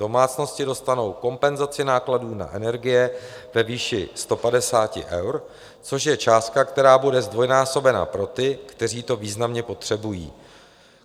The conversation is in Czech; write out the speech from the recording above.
Domácnosti dostanou kompenzaci nákladů na energie ve výši 150 eur, což je částka, která bude zdvojnásobena pro ty, kteří to významně potřebují.